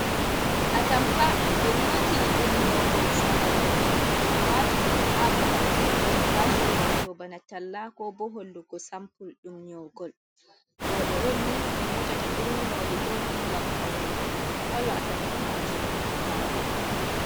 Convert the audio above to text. A tampa ɓe nyotini ɗum nyogol zamanu ɓe wati ɗum ha babal ɓe watta fashion, wato bana talla ko bo hollugo sampul ɗum nyogol, roɓe on ni nyotata irin nyoli ɗo gam paune kalo a tampa majum ma'rum.